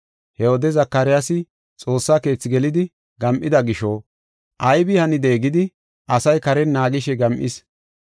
He wode Zakaryaasi Xoossa Keethi gelidi gam7ida gisho, aybi hanide gidi asay karen naagishe gam7is.